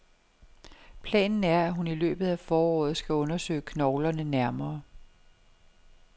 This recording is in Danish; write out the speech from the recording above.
Planen er, at hun i løbet af foråret skal undersøge knoglerne nærmere.